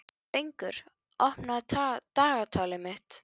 Fengur, opnaðu dagatalið mitt.